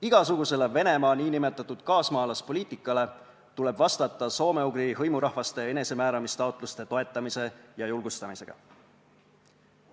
Igasugusele Venemaa nn kaasmaalaspoliitikale tuleb vastata soome-ugri hõimurahvaste enesemääramistaotluste toetamise ja julgustamisega.